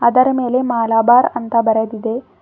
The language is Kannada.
ಅದರ ಮೇಲೆ ಮಾಲಾಬಾರ್ ಅಂತ ಬರೆದಿದೆ.